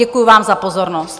Děkuji vám za pozornost.